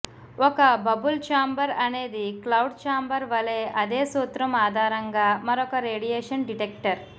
ఒక bubble chamber అనేది cloud chamber వలె అదే సూత్రం ఆధారంగా మరొక రేడియేషన్ డిటెక్టర్